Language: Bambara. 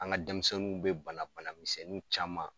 An ka denmisɛnninw bɛ bana banamisɛnni caman